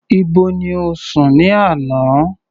Ibo ni o sùn ní àná?